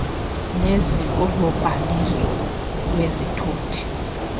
neziko lobhaliso lwezithuthi